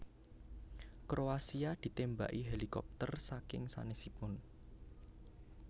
Kroasia ditembaki helikopter saking sanesipun